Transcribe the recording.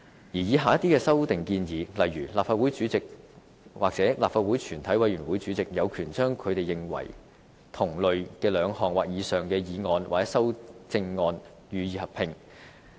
此外，以下的一些修訂建議，例如立法會主席或立法會全體委員會主席，有權把他們認為同類或兩項的議案或修正案予以合併。